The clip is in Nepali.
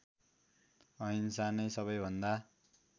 अहिंसा नै सबैभन्दा